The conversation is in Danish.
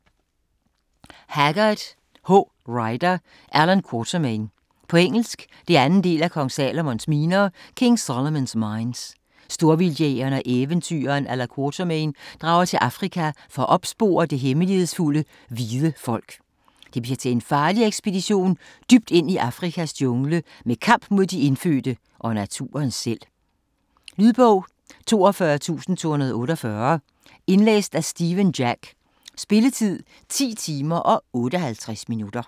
Haggard, H. Rider: Allan Quatermain På engelsk. 2. del af King Solomon's mines. Storvildtjægeren og eventyreren Allan Quatermain drager til Afrika for at opspore det hemmelighedsfulde "Hvide folk". Det bliver til en farlig ekspedition dybt ind i Afrikas jungle med kamp mod de indfødte og naturen selv. Lydbog 42248 Indlæst af Stephen Jack Spilletid: 10 timer, 58 minutter.